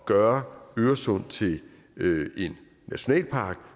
gøre øresund til en nationalpark